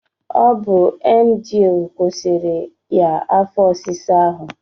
Ọ bu emgyl kwụsịrị ya afọ ọsịsa ahụ